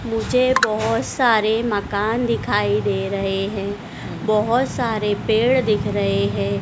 मुझे बहोत सारे मकान दिखाई दे रहे हैं बहोत सारे पेड़ दिख रहे है।